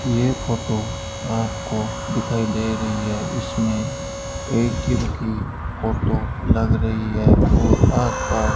यह फोटो आपको दिखाई दे रही है इसमें ए_टी_एम की फोटो लग रही है और आस-पास --